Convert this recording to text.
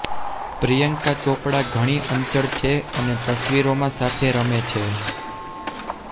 પ્રિયંકા ચોપડા ઘણી ચંચળ છે અને તસવીરોની સાથે રમે છે